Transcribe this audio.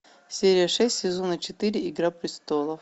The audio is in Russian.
серия шесть сезона четыре игра престолов